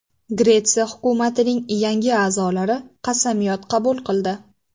Gretsiya hukumatining yangi a’zolari qasamyod qabul qildi.